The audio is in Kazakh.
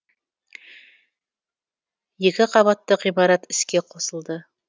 екі қабатты ғимарат іске қосылды